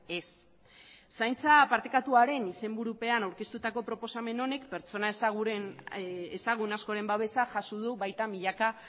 ez zaintza partekatuaren izenburupean aurkeztutako proposamen honek pertsona ezagun askoren babesa jaso du baita milaka